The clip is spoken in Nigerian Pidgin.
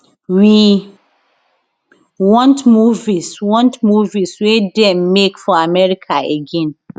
we want movies want movies wey dem make for america again